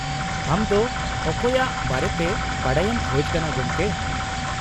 -ᱟᱢ ᱫᱚ ᱚᱠᱚᱭᱟᱜ ᱵᱟᱨᱮᱛᱮ ᱵᱟᱰᱟᱭᱮᱢ ᱠᱷᱚᱡ ᱠᱟᱱᱟ , ᱜᱚᱢᱠᱮ ?